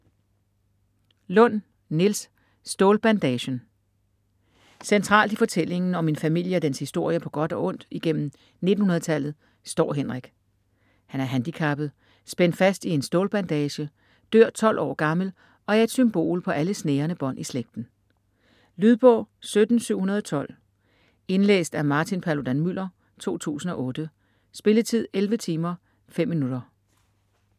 Lund, Niels: Stålbandagen Centralt i fortællingen om en familie og dens historie på godt og ondt igennem 1900-tallet står Henrik. Han er handicappet, spændt fast i en stålbandage, dør 12 år gammel og er et symbol på alle snærende bånd i slægten. Lydbog 17712 Indlæst af Martin Paludan-Müller, 2008. Spilletid: 11 timer, 5 minutter.